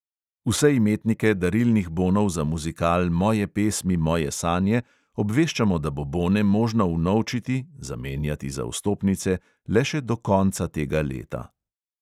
Vse imetnike darilnih bonov za muzikal moje pesmi moje sanje obveščamo, da bo bone možno vnovčiti (zamenjati za vstopnice) le še do konca tega leta.